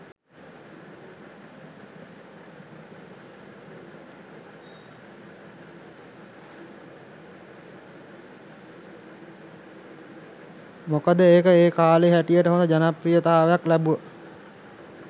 මොකද ඒක ඒ කාලේ හැටියට හොඳ ජනප්‍රියතාවක් ලැබුවා.